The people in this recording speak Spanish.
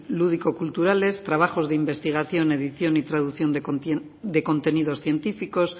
lúdico culturales trabajos de investigación edición y traducción de contenidos científicos